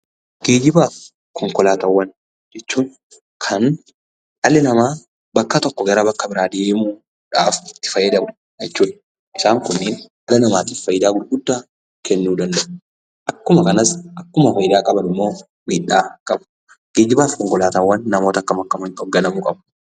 Geejjibaaf konkolaataawwan jechuun kan dhalli namaa bakka tokkoo gara bakka biraa deemuudhaaf itti fayyadamu jechuudha. Isaan kunniin dhala namaatif faayidaa gurguddaa kennuu danda'u. Akkuma kanas akkuma faayidaa qaban immoo miidhaa qabu. Geejjibaaf konkolaataawwan namoota akkam akkamiin hoogganamuu qabu?